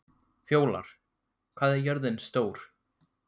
Fjólar, hvað er jörðin stór?